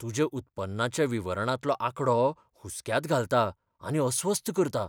तुज्या उत्पन्नाच्या विवरणांतलो आंकडो हुसक्यांत घालता आनी अस्वस्थ करता.